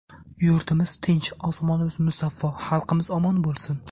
Yurtimiz tinch, osmonimiz musaffo, xalqimiz omon bo‘lsin!